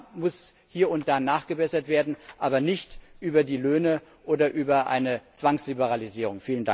Da muss hier und da nachgebessert werden, aber nicht über die Löhne oder über eine Zwangsliberalisierung.